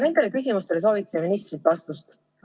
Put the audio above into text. Nendele küsimustele soovime ministrilt vastust.